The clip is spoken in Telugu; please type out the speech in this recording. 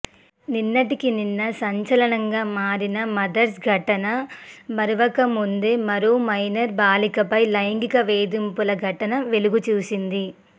నిన్నటికి నిన్న సంచలనంగా మారిన మదర్సా ఘటన మరువక ముందే మరో మైనర్ బాలికపై లైంగిక వేధింపుల ఘటన వెలుగుచూసింది